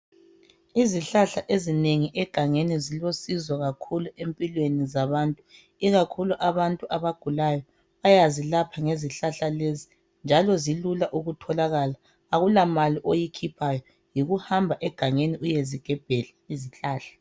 Izihlahla ezinengi egangeni zilosizo kakhulu empilweni zabantu. Ikakhulu abantu ababagulayo, bayazilapha ngezihlahla lezi njalo zilula ukutholakala akulamali oyikhuphayo, yikuhamba egangeni uyezigebhela izihlahla.